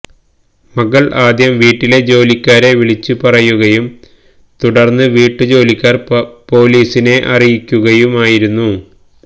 മകൾ ആദ്യം വീട്ടിലെ ജോലിക്കാരെ വിളിച്ചുപറയുകയും തുടർന്ന് വീട്ടുജോലിക്കാർ പൊലീസിനെ അറിയിക്കുകയുമായിരുന്നു